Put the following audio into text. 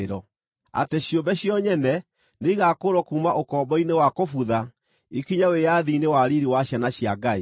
atĩ ciũmbe cio nyene nĩigakũũrwo kuuma ũkombo-inĩ wa kũbutha, ikinye wĩyathi-inĩ wa riiri wa ciana cia Ngai.